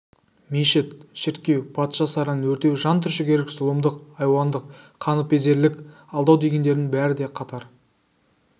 мешіт шіркеу патша сарайын өртеу жан түршігерлік зұлымдық айуандық қаныпезерлік алдау дегендердің бәрі де қатар